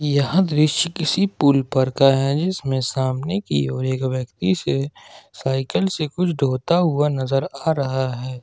यह दृश्य किसी पुल पर का है जिसमें सामने की ओर एक व्यक्ति से साइकल से कुछ ढोता हुआ नजर आ रहा है।